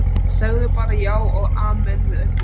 Sagði bara já og amen við öllu.